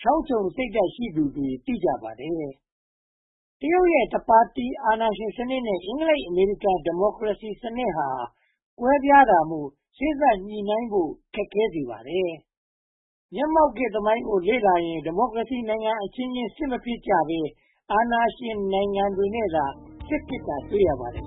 ချောင်းချုံစိတ်ဓါတ် ရှိသူတွေ သိကြပါတယ်။ တရုတ်ရဲ့ တပါတီအာဏာရှင်စနစ် နဲ့ အင်္ဂလိပ်၊ အမေရိကန် ဒီမိုကရေစီစနစ်တို့ဟာ ကွဲပြားတာမို့ စေ့စပ်ဆွေးနွေးညှိနှိုင်းမှုကို ခက်ခဲစေပါတယ်။ မျက်မှောက်ခေတ်သမိုင်းကို လေ့လာရင် ဒီမိုကရေစီနိုင်ငံအချင်းချင်း စစ်မဖြစ်ကြဘဲ အာဏာရှင်နိုင်ငံတွေနဲ့သာ စစ်ဖြစ်တာ တွေ့ရပါတယ်